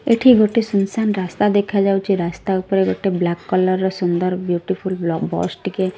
ଏଠି ଗୋଟେ ଶୁନଶାନ୍ ରାସ୍ତା ଦେଖାଯାଉଛି ରାସ୍ତା ଉପରେ ଗୋଟେ ବ୍ଲାକ କଲର୍ ସୁନ୍ଦର୍ ବିୟୁଟିଫୁଲ ବସ ଟିକେ --।